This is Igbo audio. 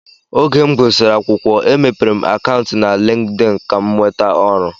Oge m gụsịrị akwụkwọ e mepere akantu na LinkedIn Kam nweta ọrụ.